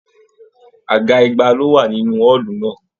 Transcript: Àga igba lo wà nínú ọọlú náà.